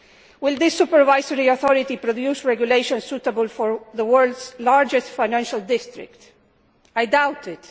Will the supervisory authority produce regulations suitable for the world's largest financial district? I doubt it.